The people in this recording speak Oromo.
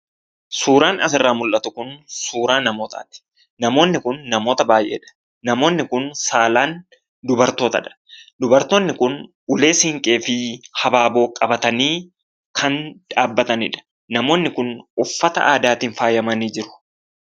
Suuraan asirraa mul'atu kun suuraa namootaati. Namoonni kun namoota baayyeedha. Namoonni kun saalaan dubartootadha. Dubartoonni kun ulee Siinqee fi Habaaboo qabatanii kan dhaabbatanidha. Namoonni kun uffata aadaatiin faayamanii jiru.